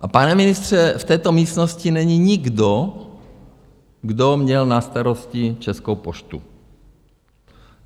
A pane ministře, v této místnosti není nikdo, kdo měl na starosti Českou poštu.